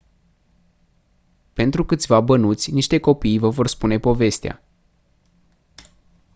pentru câțiva bănuți niște copii vă vor spune povestea